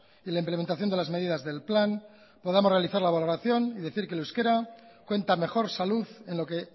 y la implementación de las medidas del plan podamos realizar la valoración y decir que el euskera cuenta mejor salud en lo que